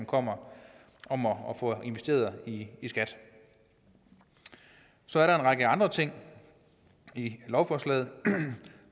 kommer om at få investeret i skat så er der en række andre ting i lovforslaget